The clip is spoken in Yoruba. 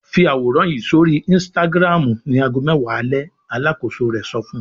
"Fi àwòrán yìí sórí Instagram ní ago mẹ́wàá alẹ́!" Alákòóso rẹ̀ sọ fún un.